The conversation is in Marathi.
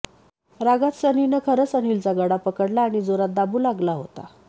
रागात सनीने खरंच अनिलचा गळा पकडला आणि जोरात दाबू लागला होता